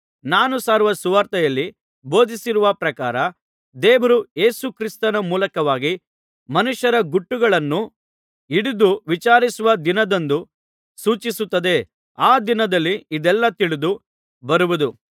ನಾನು ಸಾರುವ ಸುವಾರ್ತೆಯಲ್ಲಿ ಬೋಧಿಸಿರುವ ಪ್ರಕಾರ ದೇವರು ಯೇಸು ಕ್ರಿಸ್ತನ ಮೂಲಕವಾಗಿ ಮನುಷ್ಯರ ಗುಟ್ಟುಗಳನ್ನು ಹಿಡಿದು ವಿಚಾರಿಸುವ ದಿನದಂದು ಸೂಚಿಸುತ್ತದೆ ಆ ದಿನದಲ್ಲಿ ಇದೆಲ್ಲಾ ತಿಳಿದು ಬರುವುದು